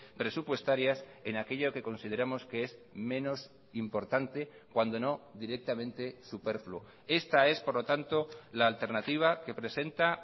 presupuestarias en aquello que consideramos que es menos importante cuando no directamente superfluo esta es por lo tanto la alternativa que presenta